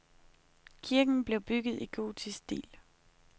Kirken blev bygget i gotisk stil.